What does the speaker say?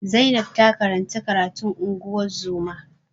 Zainab ta karanci karatun ungozoma